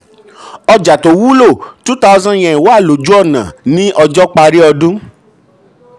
ọjà tó wúlò two thousand yen wà lójú ọ̀nà ní ọjọ́ parí ọdún.